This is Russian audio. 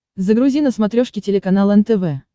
загрузи на смотрешке телеканал нтв